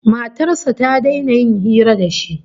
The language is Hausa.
Matar sa ta daina yin hira da shi